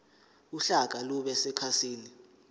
uhlaka lube sekhasini